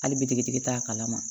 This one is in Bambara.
Hali bitigitigi t'a kalama